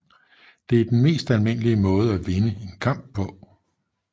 Det er det mest almindelige måde at vinde en kamp på